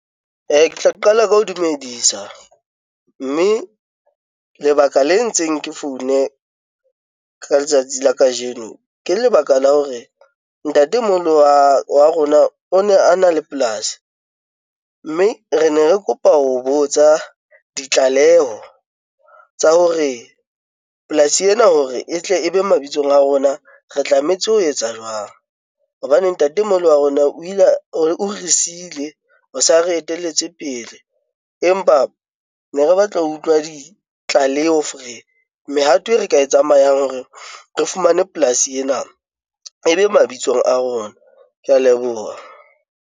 Ke tla qala ka ho dumedisa mme lebaka le entseng ke foune ka letsatsi la kajeno ke lebaka la hore ntatemoholo wa rona o ne a na le polasi mme re ne re kopa ho botsa ditlaleho tsa hore polasi ena hore e tle e be mabitsong a rona. Re tlametse ho etsa jwang hobane ntatemoholo wa rona o ile o re siile, o sa re etelletse pele, empa ne re batla ho utlwa ditlaleho mehato e re ka e tsamayang hore re fumane polasi ena e be mabitsong a rona ke ya leboha.